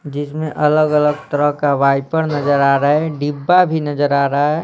जिसमें अलग-अलग तरह का वाइपर नजर आ रहा है डिब्बा भी नजर आ रहा है।